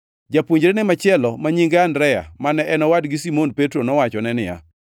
Japuonjrene machielo, ma nyinge Andrea, mane en owadgi Simon Petro nowachone niya,